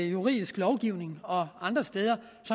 juridisk lovgivning og andre steder